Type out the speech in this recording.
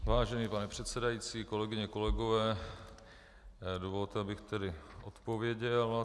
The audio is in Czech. Vážený pane předsedající, kolegyně, kolegové, dovolte, abych tedy odpověděl.